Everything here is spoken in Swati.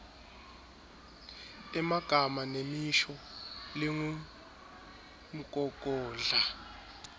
emagama nemisho lengumgogodla